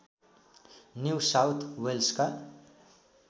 new South वेल्सका